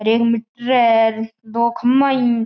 अरे एक मीटर है दो खम्बा है।